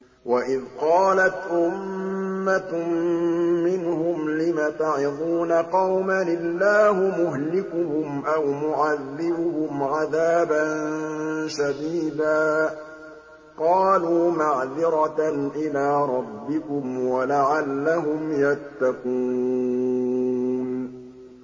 وَإِذْ قَالَتْ أُمَّةٌ مِّنْهُمْ لِمَ تَعِظُونَ قَوْمًا ۙ اللَّهُ مُهْلِكُهُمْ أَوْ مُعَذِّبُهُمْ عَذَابًا شَدِيدًا ۖ قَالُوا مَعْذِرَةً إِلَىٰ رَبِّكُمْ وَلَعَلَّهُمْ يَتَّقُونَ